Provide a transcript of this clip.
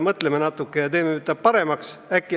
Mõtleme natukene ja teeme seda paremaks!